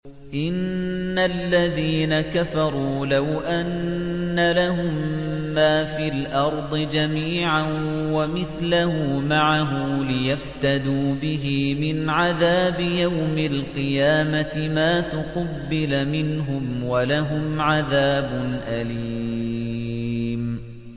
إِنَّ الَّذِينَ كَفَرُوا لَوْ أَنَّ لَهُم مَّا فِي الْأَرْضِ جَمِيعًا وَمِثْلَهُ مَعَهُ لِيَفْتَدُوا بِهِ مِنْ عَذَابِ يَوْمِ الْقِيَامَةِ مَا تُقُبِّلَ مِنْهُمْ ۖ وَلَهُمْ عَذَابٌ أَلِيمٌ